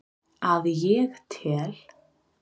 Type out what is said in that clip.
Að ég tel.